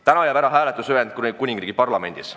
Täna jääb ära hääletus Ühendkuningriigi Parlamendis.